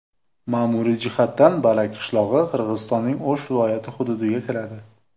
Ma’muriy jihatdan Barak qishlog‘i Qirg‘izistonning O‘sh viloyati hududiga kiradi.